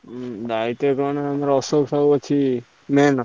ଦାଇତ୍ଵ କଣ ଆମର ଅଶୋକ ଭାଇ ଅଛି main ।